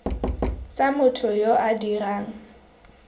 tsa motho yo o dirang